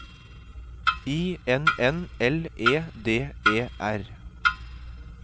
I N N L E D E R